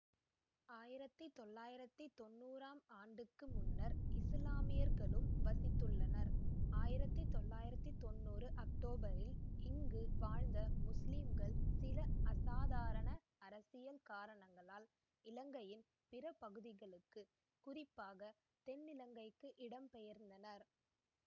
ஆயிரத்தி தொள்ளாயிரத்தி தொன்னூறாம் ஆண்டுக்கு முன்னர் இசுலாமியர்களும் வசித்துள்ளனர் ஆயிரத்தி தொள்ளாயிரத்தி தொன்னூறு அக்டோபரில் இங்கு வாழ்ந்த முஸ்லிம்கள் சில அசாதாரண அரசியல் காரணங்களால் இலங்கையின் பிற பகுதிகளுக்கு குறிப்பாக தென்னிலங்கைக்கு இடம்பெர்ந்தனர்